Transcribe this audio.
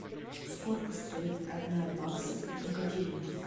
сколько стоит одна баксов в гривнах